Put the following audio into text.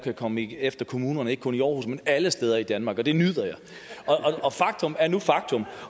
kan komme efter kommunerne ikke kun aarhus men alle steder i danmark og det nyder jeg og faktum er nu engang faktum